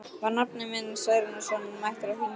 Var nafni minn Særúnarson mættur á þinginu?